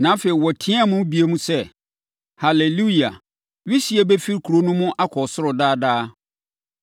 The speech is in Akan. Na afei, wɔteaam bio sɛ, “Haleluia! Wisie bɛfiri kuro no mu akɔ ɔsoro daa daa.”